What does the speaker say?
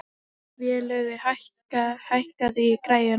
Vélaugur, hækkaðu í græjunum.